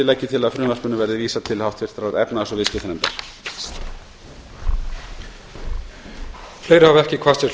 legg ég til að frumvarpinu verði vísað til háttvirtrar efnahags og viðskiptanefndar